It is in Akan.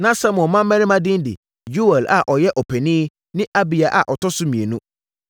Na Samuel mmammarima din ne: Yoɛl a ɔyɛ ɔpanin ne Abiya a ɔtɔ so mmienu no.